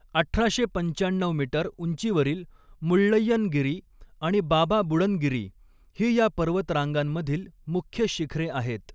अठराशे पंचाण्णऊ मीटर उंचीवरील मुळ्ळय्यनगिरी आणि बाबा बुडनगिरी ही या पर्वतरांगांमधील मुख्य शिखरे आहेत.